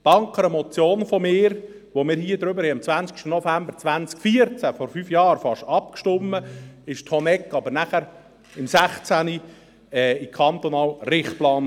Danke einer Motion von mir, über die wir am 20. November 2014, also vor fast fünf Jahren, abstimmten, kam die Honegg dann im Jahr 2016 in den kantonalen Richtplan.